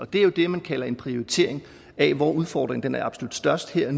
det er jo det man kalder en prioritering af hvor udfordringen er absolut størst her